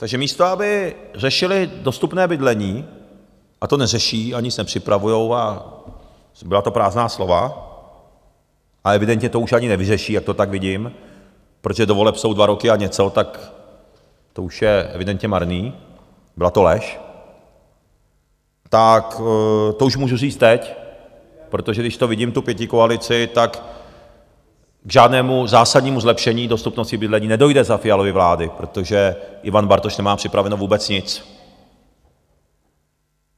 Takže místo aby řešili dostupné bydlení, a to neřeší a nic nepřipravují a byla to prázdná slova a evidentně to už ani nevyřeší, jak to tak vidím, protože do voleb jsou dva roky a něco, tak to už je evidentně marný, byla to lež, tak to už můžu říct teď, protože když to vidím, tu pětikoalici, tak k žádnému zásadnímu zlepšení dostupnosti bydlení nedojde za Fialovy vlády, protože Ivan Bartoš nemá připraveno vůbec nic.